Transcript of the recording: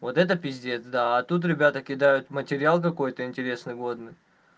вот это пиздец да а тут ребята кидают материал какой-то интересный водный